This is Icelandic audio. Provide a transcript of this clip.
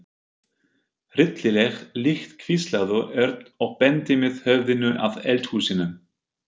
Hryllileg lykt hvíslaði Örn og benti með höfðinu að eldhúsinu.